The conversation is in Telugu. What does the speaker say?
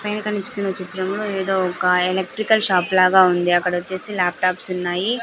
పైన కనిపిస్తున్న చిత్రంలో ఏదో ఒక ఎలక్ట్రికల్ షాప్ లాగా ఉంది అక్కడొచ్చేసి లాప్టాప్సున్నాయి .